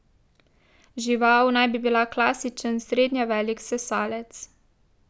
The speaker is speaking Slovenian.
Žival naj bi bila klasičen srednje velik sesalec.